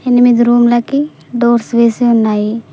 ఎనిమిది రూమ్లకి డోర్స్ వేసి ఉన్నాయి.